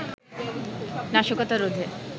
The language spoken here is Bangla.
নাশকতা রোধে